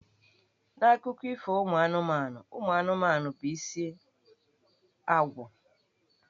N'Akụkọ Ifo ụmụ anụmanụ, ụmụ anụmanụ bụ isi ágwà.